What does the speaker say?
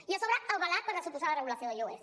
i a sobre avalat per la suposada regulació de lloguers